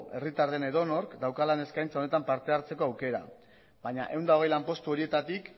herritar den edonork dauka lan eskaintza honetan parte hartzeko aukera baina ehun eta hogei lanpostu horietatik